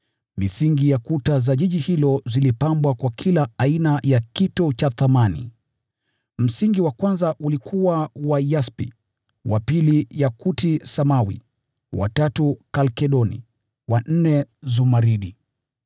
Misingi ya kuta za mji huo zilipambwa kwa kila aina ya kito cha thamani. Msingi wa kwanza ulikuwa wa yaspi, wa pili yakuti samawi, wa tatu kalkedoni, wa nne zumaridi,